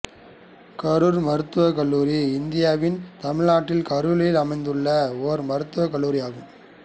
கரூர் மருத்துவக் கல்லூரி இந்தியாவின் தமிழ்நாட்டில் கரூரில் அமைந்துள்ள ஒரு மருத்துவக் கல்லூரி ஆகும்